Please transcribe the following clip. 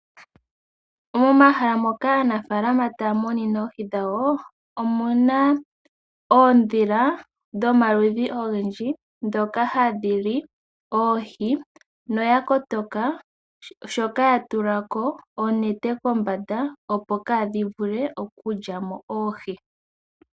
Omahala moka aanafalama taya munine oohi dhawo omuna oondhila dhomaludhi ogendji ndhoka hadhili oohi noya kotoka shoka yatulako onete kombanda opo ka dhivule okulyamo oohi.